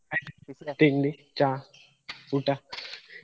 ಆಯ್ತಾ ತಿಂಡಿ, ಚಾ, ಊಟ.